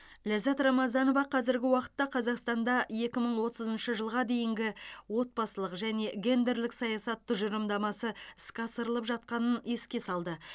ләззат рамазанова қазіргі уақытта қазақстанда екі мың отызыншы жылға дейінгі отбасылық және гендерлік саясат тұжырымдамасы іске асырылып жатқанын еске салды